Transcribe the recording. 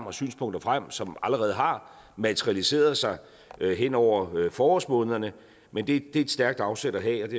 og synspunkter frem som allerede har materialiseret sig hen over forårsmånederne men det er et stærkt afsæt at have